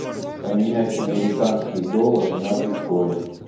поменять американские доллары на биткоин